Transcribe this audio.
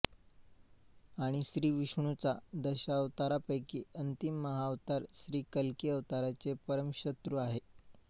आणि श्रीविष्णुचा दशावतारपैकी अंतिम महाअवतार श्रीकल्की अवतारचे परमशत्रु आहे